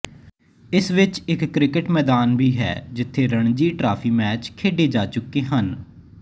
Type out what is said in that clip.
ਇਸ ਵਿੱਚ ਇੱਕ ਕ੍ਰਿਕਟ ਮੈਦਾਨ ਵੀ ਹੈ ਜਿਥੇ ਰਣਜੀ ਟਰਾਫੀ ਮੈਚ ਖੇਡੇ ਜਾ ਚੁੱਕੇ ਹਨ